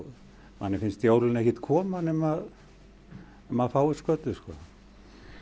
manni finnst jólin ekkert koma nema að maður fái skötu og